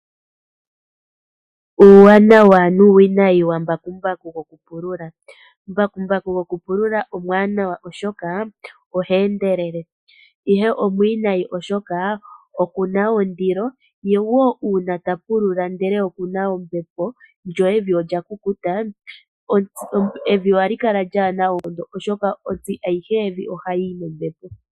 Uuwanawa nuuwinayi wambakumbaku gokupulula. Mbakumbaku gokupulula omwaanawa oshoka oha endelele. Uuwinayi owo mboka kutya okuna ondilo ye ngele ta pulula ndele okuna ombepo lyo evi olya kukuta evi ohali kala lyaana oonkondo oshoka ontsi ayihe yevi ohayi yi nombepo.